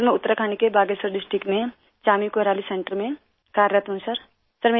सिर मैं उतराखंड के बागेश्वर डिस्ट्रिक्ट में चानी कोराली सेंटर में कार्यरत हूँ सिर